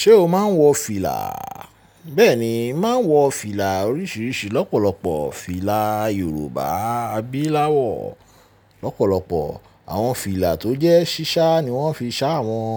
Ṣé o máa ń wọ fìlà? Bẹ́ẹ̀ni, n ma wọ fìlà oríṣiríṣi lọ́pọ̀lọpọ̀. Fìlà Yorùbá abílá wọ̀ lọ́pọ̀lọpọ̀. Àwọn fìlà tó jẹ́ ṣíṣá ni wọ́n fi ṣá wọn.